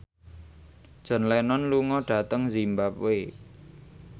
John Lennon lunga dhateng zimbabwe